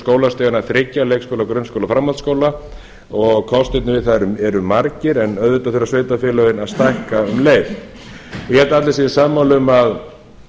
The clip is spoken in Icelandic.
skólastiganna þriggja leikskóla grunnskóla og framhaldsskóla kostirnir við það eru margir en auðvitað þurfa sveitarfélögin að stækka um leið ég held að allir séu sammála um að